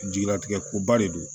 Jigilatigɛ koba de don